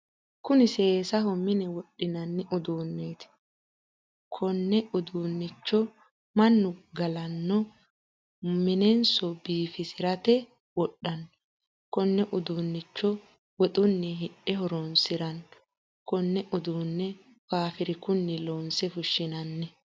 Kunni seesaho minne wodhinnanni uduuneeti. Kunne uduunnicho mannu galano monnesi biifisirate wodhano. Konne uduunicho woxunni hidhe horoonsirano. Konne uduune faafirikunni loonse fushinnanni.